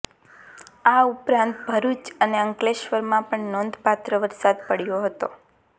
આ ઉપરાંત ભરૂચ અને અંકલેશ્વરમાં પણ નોંધપાત્ર વરસાદ પડ્યો હતો